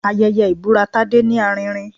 Ayẹyẹ ibura Tádé ní arinrin